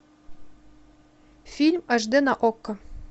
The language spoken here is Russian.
фильм аш д на окко